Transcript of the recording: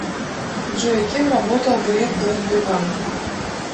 джой кем работал греф до сбербанка